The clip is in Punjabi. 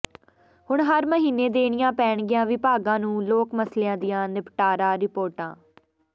ਹੁਣ ਹਰ ਮਹੀਨੇ ਦੇਣੀਆਂ ਪੈਣਗੀਆਂ ਵਿਭਾਗਾਂ ਨੂੰ ਲੋਕ ਮਸਲਿਆਂ ਦੀਆਂ ਨਿਪਟਾਰਾ ਰਿਪੋਰਟਾਂ